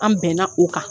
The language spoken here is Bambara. An bɛnna o kan